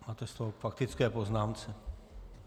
Máte slovo k faktické poznámce.